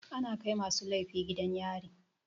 Ana kai masu laifi gidan yari.